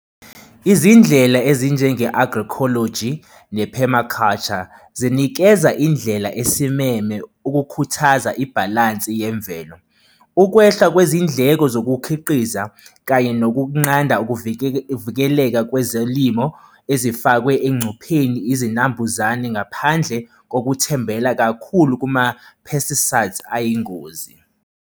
Izindlela ezinjenge-agroecology ne-permaculture zinikeza indlela esimeme ukukhuthaza ibhalansi yemvelo. Ukwehla kwezindleko zokukhiqiza kanye yokunqanda ukuvikeleka kwezolimo ezifakwe engcupheni izinambuzane ngaphandle kokuthembela kakhulu kuma-pesticides ayingozi.